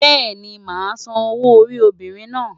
Bẹ́ẹ̀ni, màá san owó orí obìnrin náà.